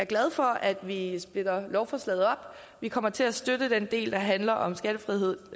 glad for at vi splitter lovforslaget op vi kommer til at støtte den del der handler om skattefrihed